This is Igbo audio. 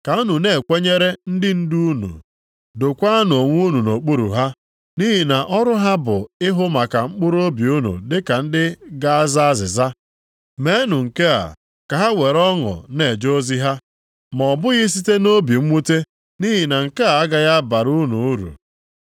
Ka unu na-ekwenyere ndị ndu unu, dokwaanụ onwe unu nʼokpuru ha. Nʼihi na ọrụ ha bụ ịhụ maka mkpụrụobi unu dịka ndị ga-aza azịza. Meenụ nke a ka ha were ọṅụ na-eje ozi ha, ma ọ bụghị site nʼobi mwute nʼihi na nke a agaghị abara unu uru.